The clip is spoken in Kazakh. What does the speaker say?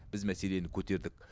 біз мәселені көтердік